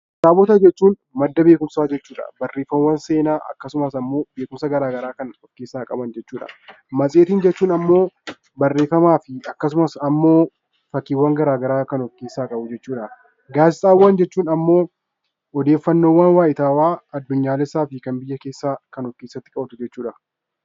Kitaabota jechuun madda beekumsaa jechuudha. Barreemaawwan seenaa akkasumas immoo beekumsa garaagaraa kan of keessaa qaban jechuudha. Matseetii jechuun immoo barreeffama akkasumas immoo fakkiiwwan garaagaraa kan of keessaa qabu jechuudha. Gaazexaawwan jechuun immoo odeeffannoo wayitawaa addunyaa fi biyyoolesaa kan of keessatti qabatu jechuudha